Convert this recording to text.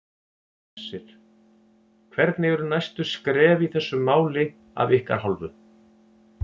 Hersir: Hvernig eru næstu skref í þessu máli af ykkar hálfu?